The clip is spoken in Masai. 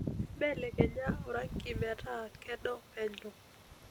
mbelekenya orangi metaa kedo penyo